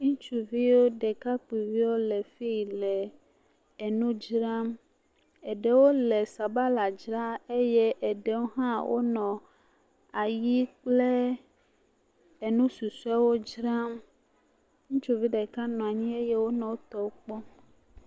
Ŋutsuviwo ɖekakpuiviwo le fi yi nɔ nu dzram ɖewo le sabala dzram eye ɖewo ha wonɔ ayi kple nu susuewo dzram ŋutsuvi ɖeka nɔ anyi eye wòle wotɔwo kpɔm